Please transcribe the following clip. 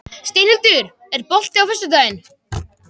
Steinhildur, er bolti á föstudaginn?